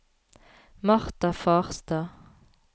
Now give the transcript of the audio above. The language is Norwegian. Marta Farstad